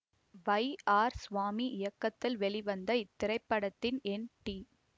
வை R Swamy இயக்கத்தில் வெளிவந்த இத்திரைப்படத்தில் என் டி